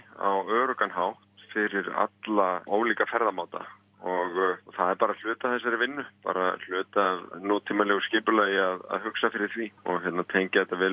á öruggan hátt fyrir alla ólíka ferðamáta og það er bara hluti af þessari vinnu bara hluti af nútímalegu skipulagi að hugsa fyrir því og tengja þetta vel